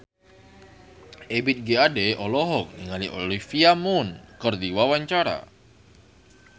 Ebith G. Ade olohok ningali Olivia Munn keur diwawancara